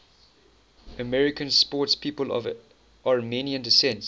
american sportspeople of armenian descent